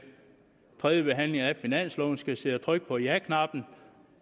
tredje behandling af finansloven skal sidde og trykke på jaknappen